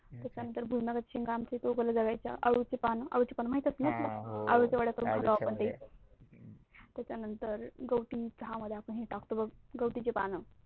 त्याच्या नंतर अळू चे पान त्याच्यानंतर गवती चहा मध्ये टाकतो बघ गाव्तीचे पान